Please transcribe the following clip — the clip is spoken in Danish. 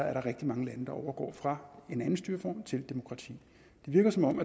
er der rigtig mange lande der overgår fra en anden styreform til demokrati det virker som om